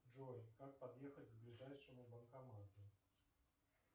джой как подъехать к ближайшему банкомату